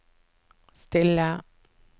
stille